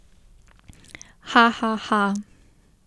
Hahaha!